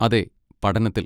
അതെ, പഠനത്തിൽ.